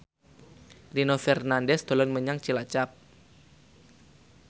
Nino Fernandez dolan menyang Cilacap